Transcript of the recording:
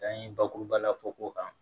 Dan ye bakuruba la fɔ ko kan